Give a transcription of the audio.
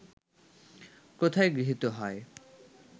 কোথায় গৃহীত হয়